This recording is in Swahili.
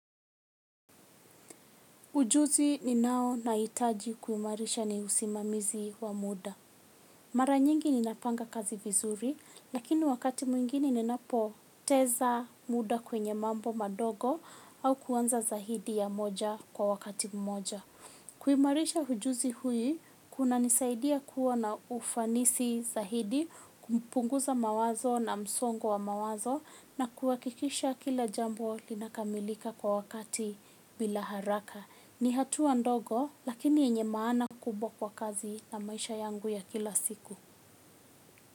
Ujuzi ninao nahitaji kuimarisha ni usimamizi wa muda. Mara nyingi ninapanga kazi vizuri, lakini wakati mwingine ninapoteza muda kwenye mambo madogo au kuanza zaidi ya moja kwa wakati mmoja. Kuimarisha ujuzi hii kunanisaidia kuwa na ufanisi zaidi, kumpunguza mawazo na msongo wa mawazo na kuhakikisha kila jambo linakamilika kwa wakati bila haraka. Ni hatua ndogo lakini yenye maana kubwa kwa kazi na maisha yangu ya kila siku.